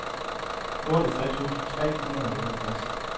otteogtres tusind tre hundrede og otteogtres